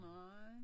Nej